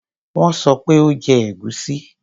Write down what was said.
Wón sọ pé o ò jẹ ẹ̀gúsí.